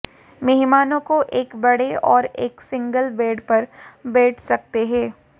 मेहमानों को एक बड़े और एक सिंगल बेड पर बैठ सकते हैं